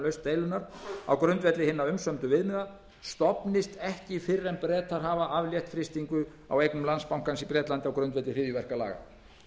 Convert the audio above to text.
deilunnar á grundvelli hinna umsömdu viðmiða stofnist ekki fyrr en bretar hafa aflétt frystingu á eignum landsbankans í bretlandi á grundvelli hryðjuverkalaga